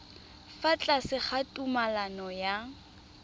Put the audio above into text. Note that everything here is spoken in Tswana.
fa tlase ga tumalano ya